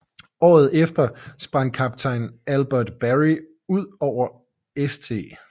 Året efter sprang Kaptajn Albert Berry ud over St